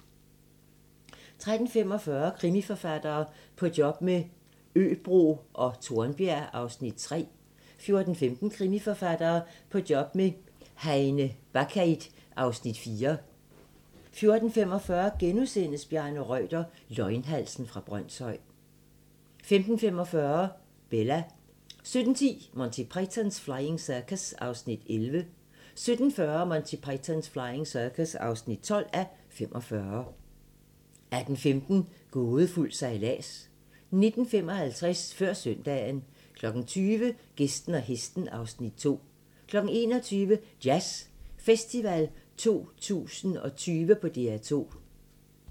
13:45: Krimiforfattere - På job med Øbro og Tornbjerg (Afs. 3) 14:15: Krimiforfattere - På job med Heine Bakkeid (Afs. 4) 14:45: Bjarne Reuter - Løgnhalsen fra Brønshøj * 15:45: Bella 17:10: Monty Python's Flying Circus (11:45) 17:40: Monty Python's Flying Circus (12:45) 18:15: Gådefuld sejlads 19:55: Før søndagen 20:00: Gæsten og hesten (Afs. 2) 21:00: Jazz Festival 2020 på DR2